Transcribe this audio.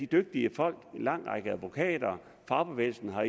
dygtige folk en lang række advokater og fagbevægelsen har